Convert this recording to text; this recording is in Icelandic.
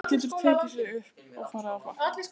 Hann getur tekið sig upp og farið á flakk.